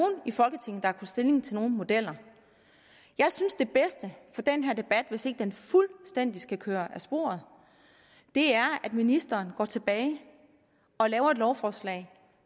i folketinget der har stilling til nogen modeller jeg synes det bedste for den her debat hvis ikke den fuldstændig skal køre af sporet er at ministeren går tilbage og laver et lovforslag